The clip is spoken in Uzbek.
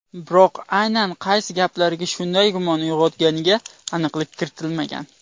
Biroq aynan qaysi gaplari shunday gumon uyg‘otganiga aniqlik kiritilmagan.